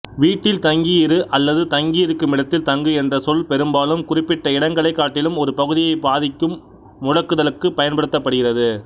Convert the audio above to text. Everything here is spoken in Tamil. வீட்டில் தங்கியிரு அல்லது தங்குமிடத்தில்தங்கு என்ற சொல் பெரும்பாலும் குறிப்பிட்ட இடங்களைக் காட்டிலும் ஒரு பகுதியைப் பாதிக்கும் முடக்குதலுக்குப் பயன்படுத்தப்படுகிறது